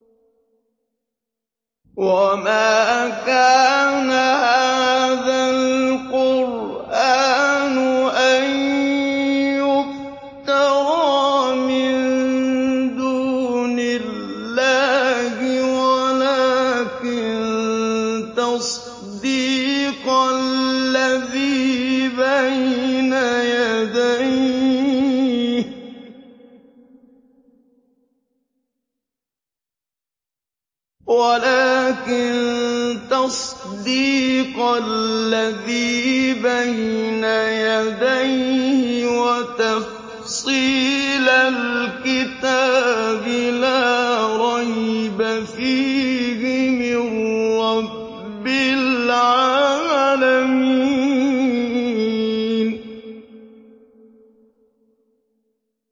وَمَا كَانَ هَٰذَا الْقُرْآنُ أَن يُفْتَرَىٰ مِن دُونِ اللَّهِ وَلَٰكِن تَصْدِيقَ الَّذِي بَيْنَ يَدَيْهِ وَتَفْصِيلَ الْكِتَابِ لَا رَيْبَ فِيهِ مِن رَّبِّ الْعَالَمِينَ